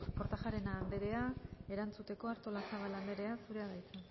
kortajarena anderea erantzuteko artolazabal anderea zurea da hitza